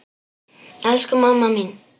Elsku mamma mín.